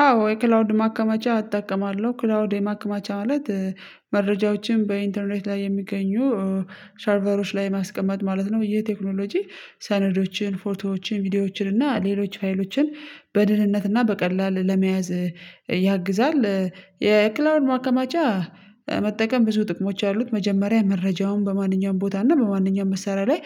አዎ የክላውድ ማከማቻ እጠቀማለሁ ክላውድ የማከማቻ ማለት መረጃዎችን በኢንተርኔት ላይ የሚገኙ ሰርቨሮች ላይ ማስቀመጥ ማለት ነው። ይህ ቴክኖሎጂ ሰነዶችን ፎቶዎችን ቪዲዮዎችን እና ሌሎች ፋይሎችን በድህንነት እና በቀላል ለመያዝ ይግዛል። የክላውድ ማከማቻ መጠቀም ብዙ ጥቅሞች አሉት መጀመሪያ መረጃውን በማንኛውም ቦታ እና በማንኛውም መሳሪያ ላይ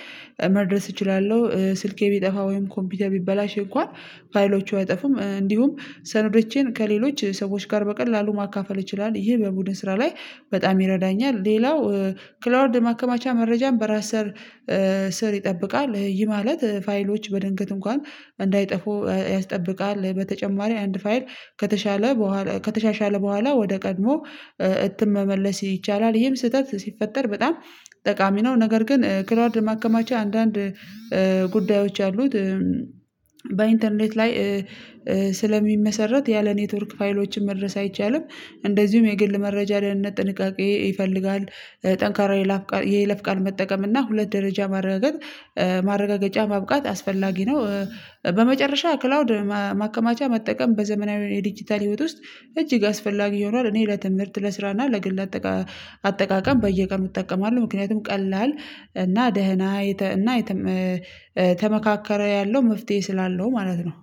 መድረስ እችላለሁ ስልኬ ቢጠፋ ወይም ኮምፒውተር ቢበላሽ እንኳን ፋይሎቹ አይጠፉም እንዲሁም ሰነዶቼን ከሌሎች ሰዎች ጋር በቀላሉ ማካፈል ይችላል ይሄ በቡድን ስራ ላይ በጣም ይረዳኛል። ሌላው ክላውድ ማከማቻ መረጃን በራስ ስር ይጠብቃል ይህ ማለት ፋይሎች በድንገት እንኳን እንዳይጠፉ ያስጠብቃል። በተጨማሪ አንድ ፋይል ከተሻለ በኋላ ከተሻሻለ በኋላ ወደ ቀድሞ እትም መመለስ ይቻላል ይህም ስህተት ሲፈጠር በጣም ጠቃሚ ነው። ነገር ግን ክላውድ ማከማቻ አንዳንድ ጉዳዮች አሉት በኢንተርኔት ላይ ስለሚመሰረት ያለ ኔትወርክ ፋይሎችን መድረስ አይቻልም። እንደዚሁም የግል መረጃ ደህንነት ጥንቃቄ ይፈልጋል ጠንካራ የይለፍ የይለፍቃል መጠቀም እና ሁለት ደረጃ ማረጋገጥ ማረጋገጫ ማብቃት አስፈላጊ ነው። በመጨረሻ ክላውድ ማከማቻ መጠቀም በዘመናዊ የዲጂታል ህይወት ውስጥ እጅግ አስፈላጊ ሆኗል። እኔ ለትምህርት ለስራና ለግል አጠቃ አጠቃቀም በየቀን እጠቀማለሁ ምክንያቱም ቀላል እና ደህና እና ተመካከረ ያለው መፍትሄ ስላለው ማለት ነው።